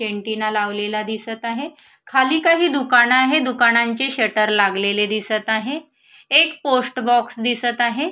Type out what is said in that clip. Antenna लावलेला दिसत आहे खाली काही दुकान आहे दुकानाचे शटर लागलेले दिसत आहे एक पोस्ट बॉक्स दिसत आहे.